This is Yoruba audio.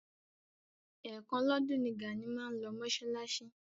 Ẹ̀ kan lọ́dún ni Gàní máa ń lọ mọ́ṣáláṣí.